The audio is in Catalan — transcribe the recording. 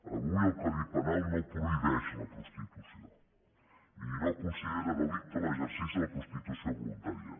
avui el codi penal no prohibeix la prostitució i no considera delicte l’exercici de la prostitució voluntària